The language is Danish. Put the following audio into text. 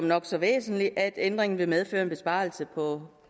nok så væsentligt at ændringen vil medføre en besparelse på